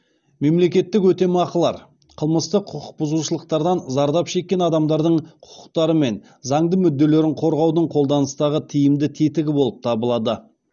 мемлекеттік өтемақылар қылмыстық құқық бұзушылықтардан зардап шеккен адамдардың құқықтары мен заңды мүдделерін қорғаудың қолданыстағы тиімді тетігі болып табылады